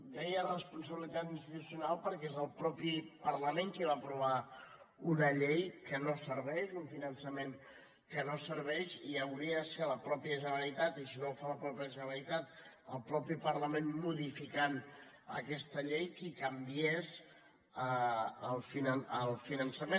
deia responsabilitat institucional perquè és el mateix parlament el que va aprovar una llei que no serveix un finançament que no serveix i hauria de ser la mateixa generalitat i si no ho fa la mateixa generalitat el mateix parlament modificant aquesta llei la que en canviés el finançament